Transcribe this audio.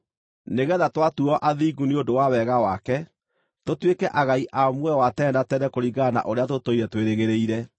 nĩgeetha twatuuo athingu nĩ ũndũ wa wega wake, tũtuĩke agai a muoyo wa tene na tene kũringana na ũrĩa tũtũire twĩrĩgĩrĩire.